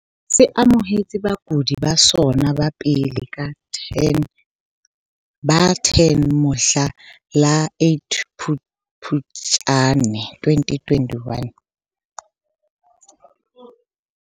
Se amohetse bakudi ba sona ba pele ba 10 mohla la 8 Phuptjane 2020.